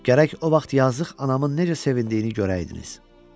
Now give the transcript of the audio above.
Gərək o vaxt yazıq anamın necə sevindiyini görəydiniz.